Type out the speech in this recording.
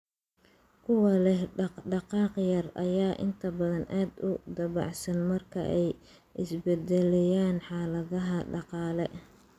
Kuwa leh dhaqdhaqaaq yar ayaa inta badan aad u dabacsan marka ay isbeddelayaan xaaladaha dhaqaale.